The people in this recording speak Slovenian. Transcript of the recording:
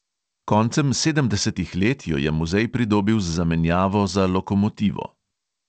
Koncem sedemdesetih let jo je muzej pridobil z zamenjavo za lokomotivo.